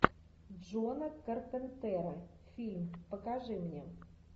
джона карпентера фильм покажи мне